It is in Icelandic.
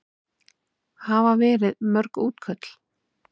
Hafa verið mörg útköll?